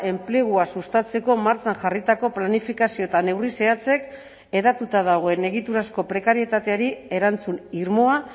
enplegua sustatzeko martxan jarritako planifikazio eta neurri zehatzek hedatuta dagoen egiturazko prekarietateari erantzun irmoa